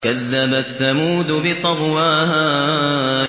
كَذَّبَتْ ثَمُودُ بِطَغْوَاهَا